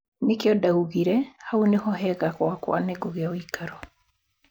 Nĩkĩo ndaugire hau nĩ ho hega gwakwa nĩngũgĩa ũikaro